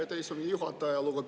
Aitäh, istungi juhataja!